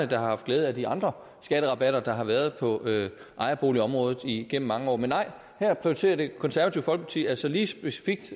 har haft glæde af de andre skatterabatter der har været på ejerboligområdet igennem mange år men nej her prioriterer det konservative folkeparti altså helt specifikt